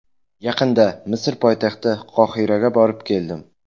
Yaqinda Misr poytaxti Qohiraga borib, keldim.